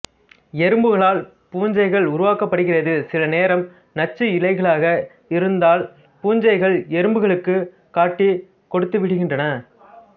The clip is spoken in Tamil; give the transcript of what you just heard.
எறும்புகளால் பூஞ்சைகள் உருவாக்கப்படுகிறது சிலநேரம் நச்சு இலைகளாக இருந்தால் பூஞ்சைகள் எறும்புகளுக்குக் காட்டிக் கொடுத்துவிடுகின்றன